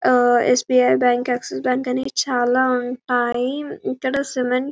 ఆహ్ SBI bank Axis bank అని చాల ఉంటాయి ఇక్కడ సిమెంట్ --